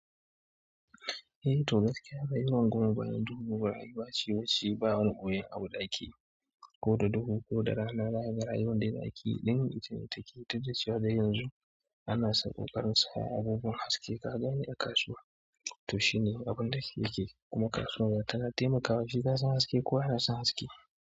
Eh, to gaskiya bai rungumi bayan dubuwar rayuwa ce wacce ba wani boyayyen abu da akeyi, ko da dare ko da rana. Zakaga rayuwar da za ki yi, limi ita ce take ta jashewa da yanzu. Ana sako karinsa ababen haske ka gani a kasuwa, to shi ne abin da yake yake. Kuma kasuwar tana taimakawa shi gasan haske kowa yana son haske.